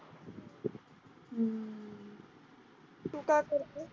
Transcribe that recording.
तू काय करते?